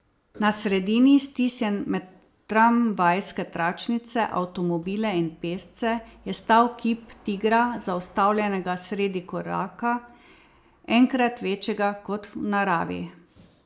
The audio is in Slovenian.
Na sredini, stisnjen med tramvajske tračnice, avtomobile in pešce, je stal kip tigra, zaustavljenega sredi koraka, enkrat večjega kot v naravi.